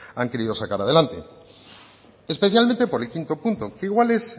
han querido sacar adelante especialmente por el quinto punto que igual es